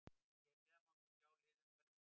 Hér neðar má svo sjá lið umferðarinnar.